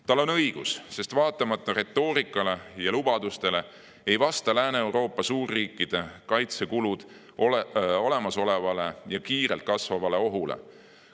Tal on õigus, sest vaatamata retoorikale ja lubadustele ei vasta Lääne‑Euroopa suurriikide kaitsekulud olemasolevale ja kiirelt kasvavale ohule.